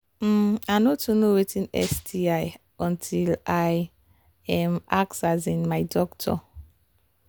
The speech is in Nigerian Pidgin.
um i no too know watin sti until i um ask um my doctor